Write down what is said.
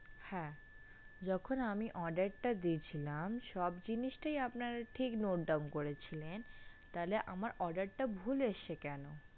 হ্যাঁ যখন আমি order টা দিয়েছিলাম সব জিনিসটাই আপনারা ঠিক note down করেছিলেন তাহলে আমার order টা ভুল এসেছে কেন?